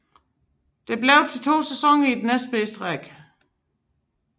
Det blev til to sæsoner i den næstbedste række